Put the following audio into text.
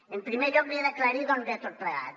en primer lloc li he d’aclarir d’on ve tot plegat